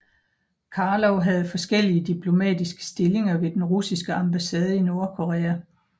Karlov havde forskellige diplomatiske stillinger ved den russiske ambassade i Nordkorea